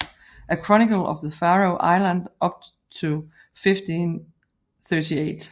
A Chronicle of the Faroe Islands up to 1538